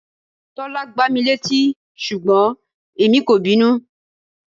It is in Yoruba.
Tọ́lá gbá mi létí ṣùgbọ́n èmi kò bínú.